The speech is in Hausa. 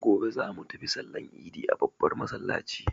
Gobe za mu tafi sallan idi a babbar masallaci.